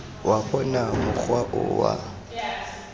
wa bona mokgwa o wa